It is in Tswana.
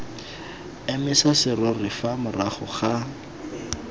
emisa serori fa morago ga